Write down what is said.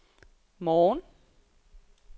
morgen